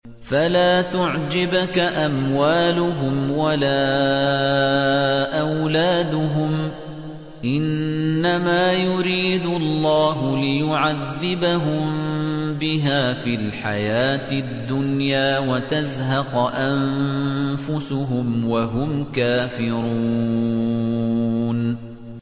فَلَا تُعْجِبْكَ أَمْوَالُهُمْ وَلَا أَوْلَادُهُمْ ۚ إِنَّمَا يُرِيدُ اللَّهُ لِيُعَذِّبَهُم بِهَا فِي الْحَيَاةِ الدُّنْيَا وَتَزْهَقَ أَنفُسُهُمْ وَهُمْ كَافِرُونَ